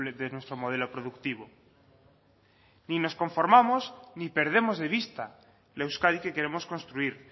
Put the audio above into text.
de nuestro modelo productivo ni nos conformamos ni perdemos de vista la euskadi que queremos construir